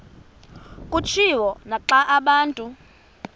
kutshiwo naxa abantu